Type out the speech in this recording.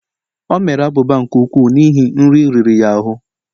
O mere abụba nke ukwuu n'ihi nri riri ya ahụ